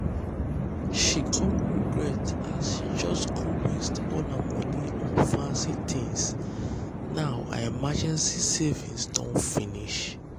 she come regret as she just go waste all her money on fancy things now her emergency savings don finish.